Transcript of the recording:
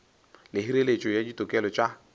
le hireletšo ya ditokelo tša